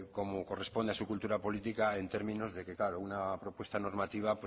como corresponde a su cultura política en términos de que una propuesta normativa